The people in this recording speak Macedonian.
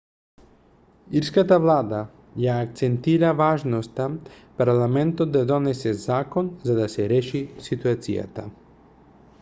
ирската влада ја акцентира важноста парламентот да донесе закон за да се реши ситуацијата